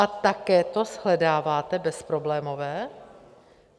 A také to shledáváte bezproblémové?